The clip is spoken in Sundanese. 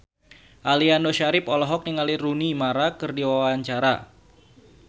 Aliando Syarif olohok ningali Rooney Mara keur diwawancara